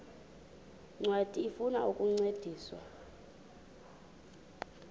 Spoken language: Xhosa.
ncwadi ifuna ukukuncedisa